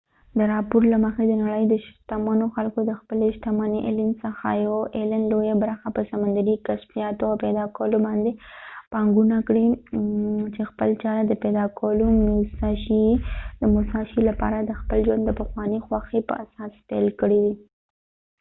د راپور له مخی د نړی د شتمنو خلکو څخه یو ایلن allen د خپلی شتمنۍ لويه برخه په سمندرې کشفیاتو او پیدا کولو باندي پانګونه کړي چې خپل چاره یې د موساشي musashi د پیدا کولو لپاره د خپل ژوند د پخوانی خوښی په اساس پیل کړي ده